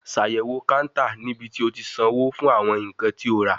Ṣayẹwo counter ni ibiti o ti sanwo fun awọn nkan ti o ra